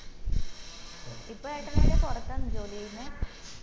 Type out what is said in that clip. ഇപ്പം ഏട്ടൻ എടയ പൊറത്താണോ ജോലി ചെയ്യിന്നെ?